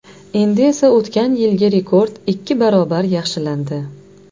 Endi esa o‘tgan yilgi rekord ikki barobar yaxshilandi.